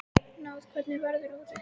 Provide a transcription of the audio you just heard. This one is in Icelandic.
Náð, hvernig er veðrið úti?